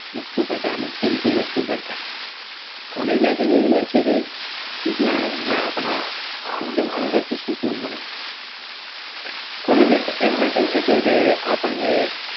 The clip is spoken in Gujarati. બધું કરતા College life એક એવી life છે જે સૂકુંન મળે જ્યાં આપણને